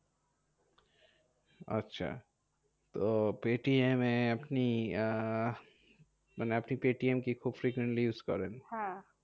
আচ্ছা তো পেটিএমে আপনি আহ মানে আপনি পেটিএম কি খুব frequently use করেন?